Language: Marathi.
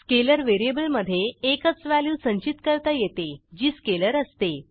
स्केलर व्हेरिएबलमधे एकच व्हॅल्यू संचित करता येते जी स्केलर असते